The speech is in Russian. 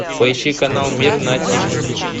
поищи канал мир на тв